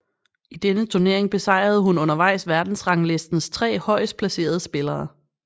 I denne turnering besejrede hun undervejs verdensranglistens tre højest placerede spillere